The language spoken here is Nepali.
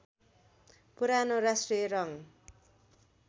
पुरानो राष्ट्रिय रङ्ग